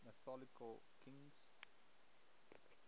mythological kings